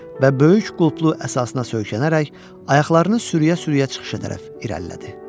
Və böyük qulplu əsasına söykənərək ayaqlarını sürüyə-sürüyə çıxışa tərəf irəlilədi.